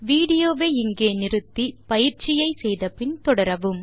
விடியோவை இங்கே இடைநிறுத்தி கொடுத்த பயிற்சியை செய்தபின் தொடரவும்